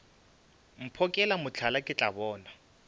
mphokela mohla ke tla bona